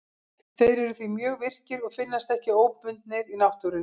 Þeir eru því mjög virkir og finnast ekki óbundnir í náttúrunni.